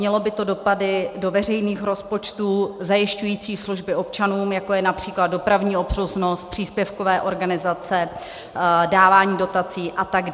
Mělo by to dopady do veřejných rozpočtů zajišťujících služby občanům, jako je například dopravní obslužnost, příspěvkové organizace, dávání dotací atd.